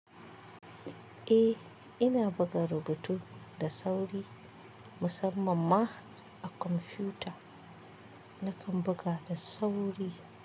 Eh, ina buga rubutu da sauri musamman ma a kwamfuta. Nakan buga da sauri.